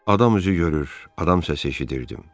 Adam üzü görür, adam səsi eşidirdim.